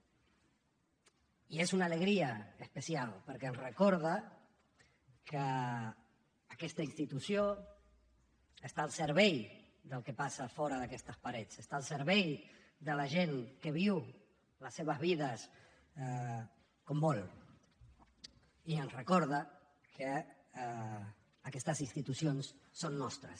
i és una alegria especial perquè ens recorda que aquesta institució està al servei del que passa fora d’aquestes parets està al servei de la gent que viu les seves vides com vol i ens recorda que aquestes institucions són nostres